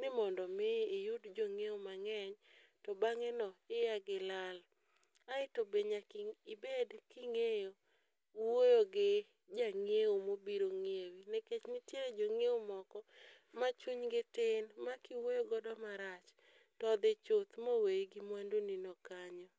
ni mondo mi iyudo jong'iewo mang'eny to bang'e no no iya gilal. Aeto be nyaki ng'e ibed king'eyo wuoyo gi jang'iewo mobiro ng'iewi nikech ntie jong'iewo moko ma chuny gi tin ma kiwuoyo godo marach todhi chuth moweyi gi mwandu ni no kanyo.